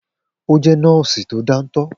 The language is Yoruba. O jẹ́ nọ́ọ́sì tó dántọ́